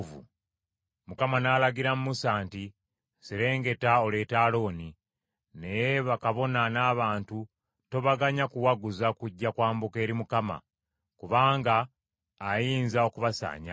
Mukama n’alagira Musa nti, “Serengeta oleete Alooni; naye bakabona n’abantu tobaganya kuwaguza kujja kwambuka eri Mukama , kubanga ayinza okubasaanyaawo.”